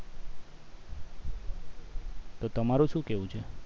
તો તમારું શું કહેવું છે